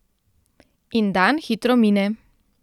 In dan hitro mine.